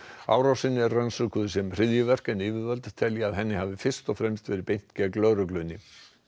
árásin er rannsökuð sem hryðjuverk en yfirvöld telja ljóst að henni hafi fyrst og fremst verið beint gegn lögreglunni